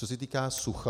Co se týká sucha.